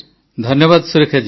ଧନ୍ୟବାଦ ସୁରେଖା ଜୀ